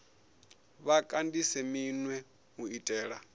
vha kandise minwe u itela